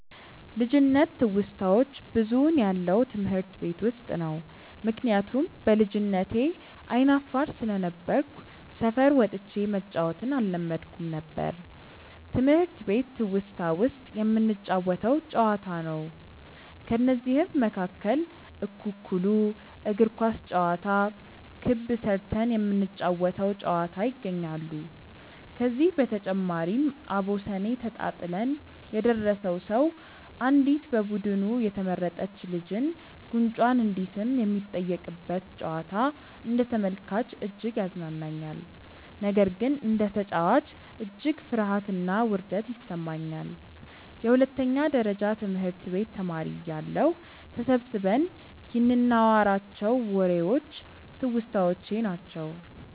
ልጅነት ትውስታዋች ብዙውን ያለው ትምህርት ቤት ውስጥ ነው። ምክንያቱም በልጅነቴ አይነ አፋር ስለነበርኩ ሰፈር ወጥቼ መጫዎትን አለመድኩም ነበር። ትምህርት ቤት ትውስታ ውስጥ የምንጫወተው ጨዋታ ነው። ከነዚህም መካከል እኩኩሉ፣ እግር ኳስ ጨዋታ፣ ክብ ስርተን የምንጫወ ተው ጨዋታ ይገኛሉ። ከዚህ በተጨማሪም አቦሰኔ ተጣጥለን የደረሰው ሰው አንዲት በቡዱኑ የተመረጥች ልጅን ጉንጯን እንዲስም የሚጠየቅበት ጨዋታ አንደ ተመልካች እጅግ ያዝናናኛል። ነገር ግን እንደ ተጨዋች እጅግ ፍርሀትና ውርደት ይሰማኛል። የሁለተኛ ደረጀ ትምህርት ቤት ተማሪ እያለሁ ተሰብስበን ይንናዋራቸው ዎሬዎች ትውስታዎቼ ናቸው።